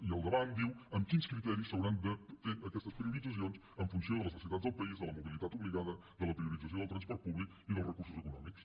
i al davant diu amb quins criteris s’hauran de fer aquestes prioritzacions en funció de les necessitats del país de la mobilitat obligada de la priorització del transport públic i dels recursos econòmics